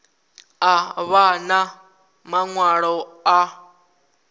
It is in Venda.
a vha na maṅwalo a